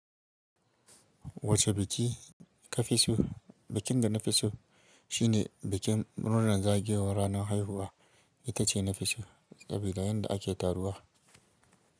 Wace biki ka fi so? Bikin da na fi so shine bikin murnar zagayowar ranar haihuwa. Ita ce na fi so sabida yadda ake taruwa.